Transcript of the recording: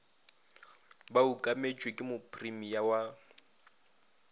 ba okametšwe ke mopremia wa